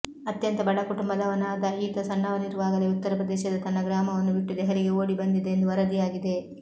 ಅತ್ಯಂತ ಬಡ ಕುಟುಂಬದವನಾದ ಈತ ಸಣ್ಣವನಿರುವಾಗಲೇ ಉತ್ತರಪ್ರದೇಶದ ತನ್ನ ಗ್ರಾಮವನ್ನು ಬಿಟ್ಟು ದೆಹಲಿಗೆ ಓಡಿಬಂದಿದ್ದ ಎಂದು ವರದಿಯಾಗಿದೆ